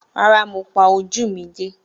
Rárá, mo pa ojú mi dé.